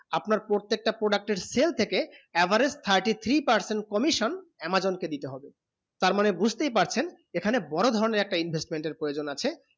আপনার প্রত্যেক তা product এর sale থেকে average thirty three percent commission amazon কে দিতে হবে তার মানে বুঝতে ই পারছেন এইখানে বোরো ধরণে একটা investment এর প্ৰয়োজন আছে